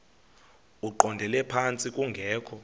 eqondele phantsi kungekho